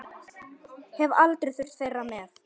Hef aldrei þurft þeirra með.